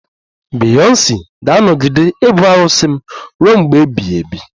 Beyonsi ga-anọgide ibu arụsị m ruo mgbe ebighị ebi